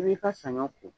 I b'i ka saɲɔ ko